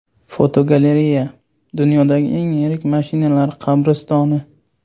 Fotogalereya: Dunyodagi eng yirik mashinalar qabristoni.